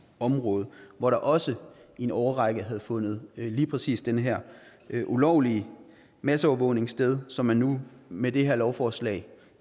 område hvor der også i en årrække havde fundet lige præcis den her ulovlige masseovervågning sted som man nu med det her lovforslag